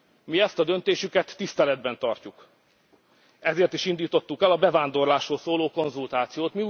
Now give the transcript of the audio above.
Mi ezt a döntésüket tiszteletben tartjuk. Ezért is indítottuk el a bevándorlásról szóló konzultációt.